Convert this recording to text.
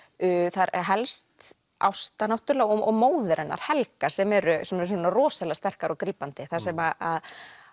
það er helst Ásta náttúrulega og móðir hennar Helga sem eru rosalega sterkar og grípandi þar sem að